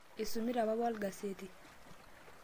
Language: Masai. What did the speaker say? isumita papa olgaseti